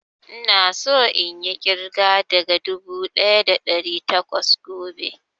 Ina so inyi ƙirga daga dubu ɗaya da ɗari takwas gobe